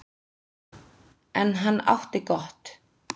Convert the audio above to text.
En hann átti gott.